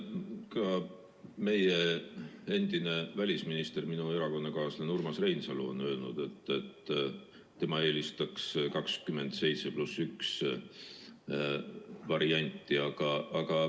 Ka meie endine välisminister, minu erakonnakaaslane Urmas Reinsalu on öelnud, et tema eelistaks 27 + 1 varianti.